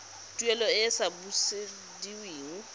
tuelo e e sa busediweng